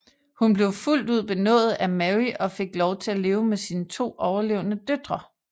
Hun blev fuldt ud benådet af Mary og fik lov til at leve med sine to overlevende døtre